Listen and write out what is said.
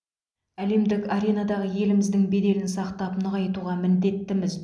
әлемдік аренадағы еліміздің беделін сақтап нығайтуға міндеттіміз